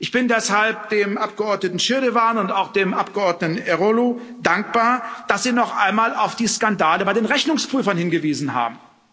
Ich bin deshalb dem Abgeordneten Schirdewan und auch dem Abgeordneten Eroglu dankbar, dass sie noch einmal auf die Skandale bei den Rechnungsprüfern hingewiesen haben.